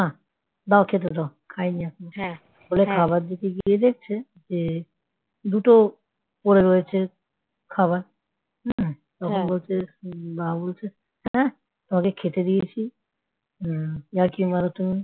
দাও খেতে দাও খাইনি এখনো । বলে খাবার দিতে গিয়ে দেখছে যে দুটো পড়ে রয়েছে খাবার হম তখন বলছে মা বলছে হ্যাঁ তোমাকে খেতে দিয়েছি হম ইয়ার্কি মারো তুমি,